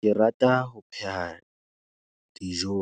Ke rata ho pheha dijo